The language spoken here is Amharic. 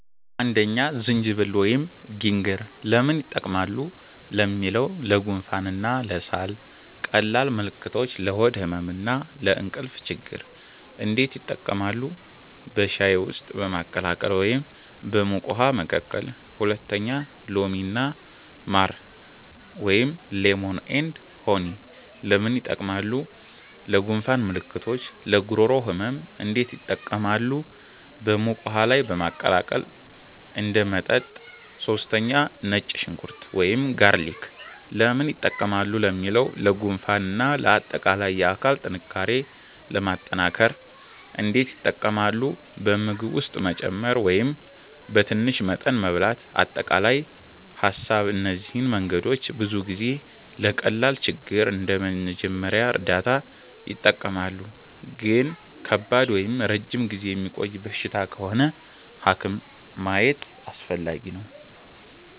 1) ዝንጅብል (Ginger) ለምን ይጠቀማሉ ለሚለው? ለጉንፋን እና ለሳል ቀላል ምልክቶች ለሆድ ህመም እና ለእንቅልፍ ችግኝ እንዴት ይጠቀማሉ? በሻይ ውስጥ በማቀላቀል ወይም በሙቅ ውሃ መቀቀል 2) ሎሚ እና ማር (Lemon & Honey) ለምን ይጠቀማሉ? ለጉንፋን ምልክቶች ለጉሮሮ ህመም እንዴት ይጠቀማሉ? በሙቅ ውሃ ላይ በማቀላቀል እንደ መጠጥ 3) ነጭ ሽንኩርት (Garlic) ለምን ይጠቀማሉ ለሚለው? ለጉንፋን እና ለአጠቃላይ የአካል ጥንካሬ ለማጠናከር እንዴት ይጠቀማሉ? በምግብ ውስጥ መጨመር ወይም በትንሽ መጠን መብላት አጠቃላይ ሀሳብ እነዚህ መንገዶች ብዙ ጊዜ ለቀላል ችግር እንደ መጀመሪያ እርዳታ ይጠቀማሉ ግን ከባድ ወይም ረጅም ጊዜ የሚቆይ በሽታ ከሆነ ሐኪም ማየት አስፈላጊ ነው